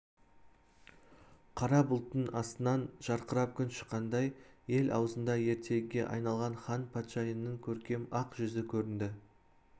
қара бұлттың астынан жарқырап күн шыққандай ел аузында ертегіге айналған хан патшайымның көркем ақ жүзі көрінді